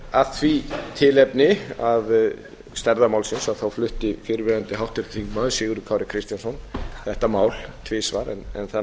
af því tilefni að stærðar málsins flutti fyrrverandi háttvirtur þingmaður sigurður kári kristjánsson þetta mál tvisvar en það